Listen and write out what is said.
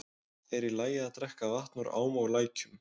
Er í lagi að drekka vatn úr ám og lækjum?